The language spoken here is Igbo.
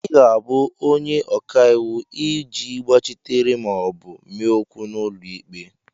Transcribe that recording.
ị ga-abụ onye ọka iwu ị ji gbachitere ma ọ bụ mee okwu n'ụlọ ikpe